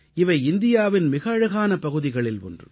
இவை இந்தியாவின் மிக அழகான பகுதிகளில் ஒன்று